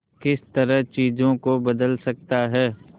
किस तरह चीजों को बदल सकता है